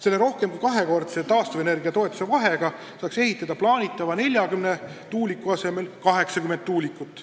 Kui see rohkem kui kahekordne taastuvenergia toetuse vahe kaotada, saaks plaanitava 40 tuuliku asemel ehitada 80 tuulikut.